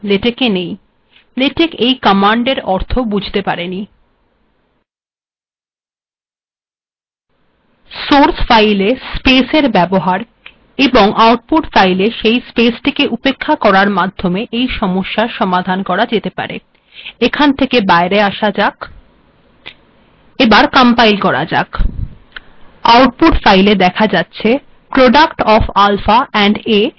LaTeX এই কমান্ডের অর্থ বুঝতে পারিনি সোর্স ফাইলে স্পেসের ব্যবহার ব্যবহার এবং আউটপুট্ ফাইলে স্পেসটি উেপক্খা করার মাধ্যেম এই সমস্যার সমাধান করা যেতে পারে এখান থেকে বাইের আসা যাক পুনরায় কম্পাইল্ করা যাক এখন আউটপুট্ ফাইলে দেখা যাচ্ছে আলফা এবং a এর গুণফল হল আলফা a